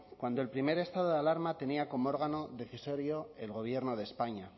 cuando el primer estado de alarma tenía como órgano decisorio el gobierno de españa